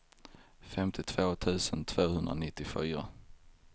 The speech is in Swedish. femtiotvå tusen tvåhundranittiofyra